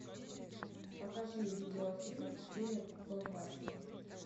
покажи видеофильм в стиле блокбастера